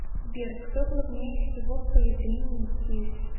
сбер кто главнее всего в появлении детей